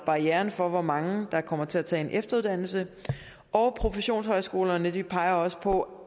barrieren for hvor mange der kommer til at tage en efteruddannelse og professionshøjskolerne peger også på